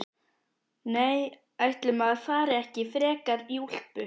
Nei, ætli maður fari ekki frekar í úlpu.